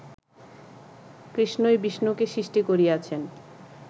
কৃষ্ণই বিষ্ণুকে সৃষ্টি করিয়াছেন